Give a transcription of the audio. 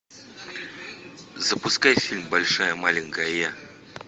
запускай фильм большая маленькая я